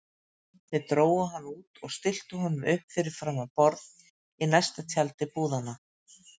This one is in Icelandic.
Þeir drógu hann út og stilltu honum upp fyrir framan borð í stærsta tjaldi búðanna.